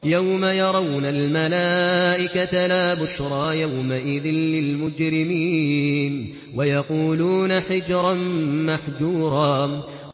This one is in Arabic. يَوْمَ يَرَوْنَ الْمَلَائِكَةَ لَا بُشْرَىٰ يَوْمَئِذٍ لِّلْمُجْرِمِينَ وَيَقُولُونَ حِجْرًا مَّحْجُورًا